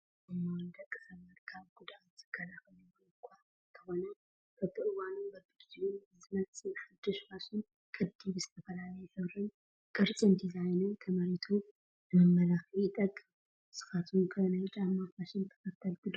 ጫማ፡- ንደቂ ሰባት ካብ ጉድኣት ዝከላኸል እውን እኳ እንተኾነ በብዋኑን በቢጊዜኡን ብዝመፅእ ሓዱሽ ፋሽን ቅዲ ብዝተፈላለየ ሕብሪ፣ ቅርፂን ዲዛይንን ተመሪቱ ንመመላኽዒ ይጠቅም ፡፡ ንስኻትኩ ከ ናይ ጫማ ፋሽን ተኸልቲ ዲኹም?